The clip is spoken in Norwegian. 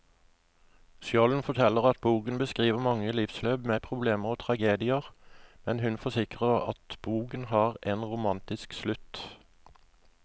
Skjolden forteller at boken beskriver mange livsløp med problemer og tragedier, men hun forsikrer at boken har en romantisk slutt.